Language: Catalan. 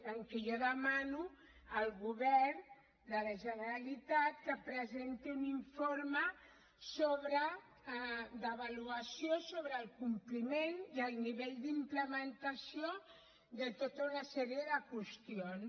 en què jo demano al govern de la generalitat que presenti un informe d’avaluació sobre el compliment i el nivell d’implementació de tota una sèrie de qüestions